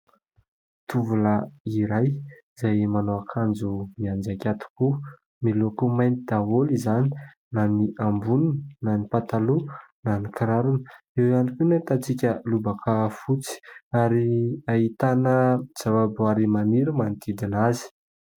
Tovolahy iray iray izay manao akanjo mianjaika tokoa. Miloko mainty daholo izany na ny amboniny na ny pataloha na ny kirarony. Eo ihany koa ny ahitantsika lobaka fotsy ary ahitana zava-boary maniry manodidina azy.